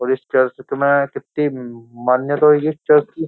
और इस चर्च में कितनी म-मान्यता होएगी इस चर्च की।